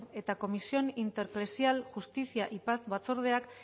eta comisión intereclesial justicia y paz batzordeak